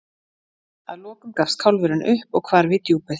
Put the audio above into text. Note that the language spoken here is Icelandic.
Að lokum gafst kálfurinn upp og hvarf í djúpið.